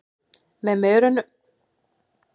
Með merunum eru folöld og trippi.